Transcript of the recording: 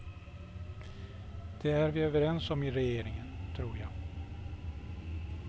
Det är vi överens om i regeringen, tror jag.